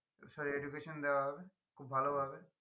Sorry education দেওয়া হবে খুব ভালো ভাবে